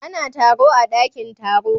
Ana taro a daƙin taro.